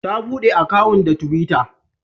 Ta buɗe akawun da twitter.